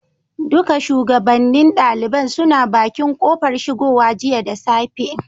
Duka shugabannin ɗaliban suna bakin kofar shigowa jiya da safe.